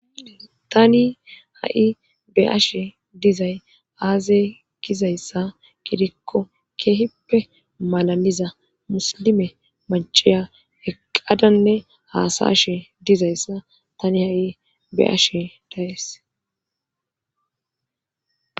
tani ha7i be ashe dizay aazay gizayssa gidikko keehippe malaliza muslime maciya eqqadanne haasashe dizayssa tani ha7i beashe dayes